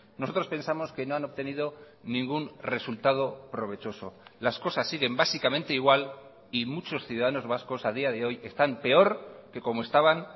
nosotros pensamos que no han obtenido ningún resultado provechoso las cosas siguen básicamente igual y muchos ciudadanos vascos a día de hoy están peor que como estaban